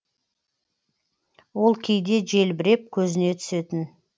ол кейде желбіреп көзіне түсетін